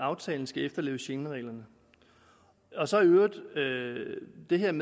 at aftalen skal efterleve schengenreglerne i øvrigt